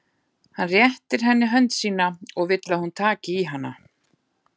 Hann réttir henni hönd sína og vill að hún taki í hana.